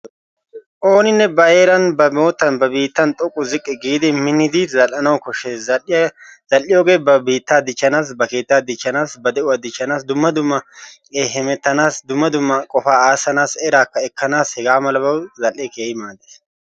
Oonine ba heeran ba moottan ba biittan xoqqu ziqqi giidi minnidi zal'anawu koshshes. Zal'iyogge ba biitta dichchanassi, ba keetta dichchanassi, ba de'uwaa dichchanassi, dumma dumma hemettanassi dumma dumma qofaa asanasi, erakka ekanasi hegaa malabawu zal'e keehi maades.